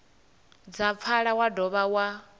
dza pfala wa dovha wa